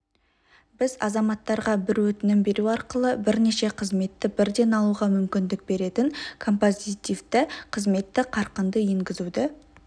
біз азаматтарға бір өтінім беру арқылы бірнеше қызметті бірден алуға мүмкіндік беретін композитивті қызметті қарқынды енгізуді